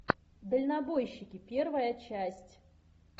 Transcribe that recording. дальнобойщики первая часть